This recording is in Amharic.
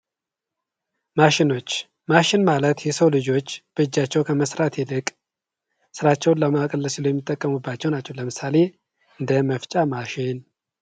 ማሽኖች፦ ማሽን ማለት የሰው ልጆች በእጃቸው ከመስራት ይልቅ ስራቸውን ለማቅለል ሲሉ የሚጠቀሙባቸው ናቸው። ለምሳሌ፦ እንደ መፍጫ ማሽን